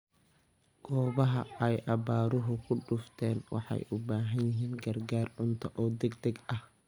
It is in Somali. Goobaha ay abaaruhu ku dhufteen waxay u baahan yihiin gargaar cunto oo degdeg ah.